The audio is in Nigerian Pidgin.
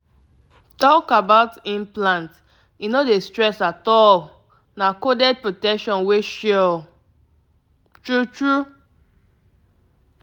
implant talk be say e easy to manage — manage — e help you hold belle level wella um um.